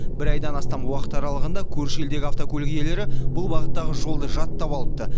бір айдан астам уақыт аралығында көрші елдегі автокөлік иелері бұл бағыттағы жолды жаттап алыпты